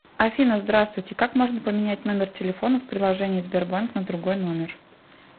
афина здравствуйте как можно поменять номер телефона в приложение сбербанк на другой номер